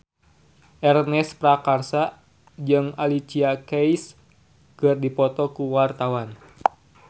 Ernest Prakasa jeung Alicia Keys keur dipoto ku wartawan